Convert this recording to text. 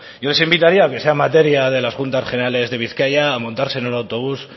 yo les invitaría aunque sea materia de las juntas generales de bizkaia a montarse en el autobús